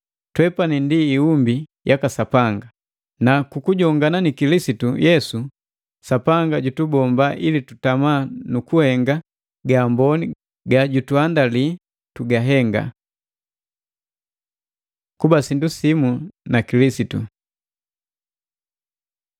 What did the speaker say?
Twepani ndi iumbi yaka Sapanga, na ku kujongana ni Kilisitu Yesu, Sapanga jutubomba ili tutama nu kuhenga gaamboni gajutuandali tugahenga. Kuba sindu simu na Kilisitu